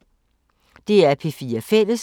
DR P4 Fælles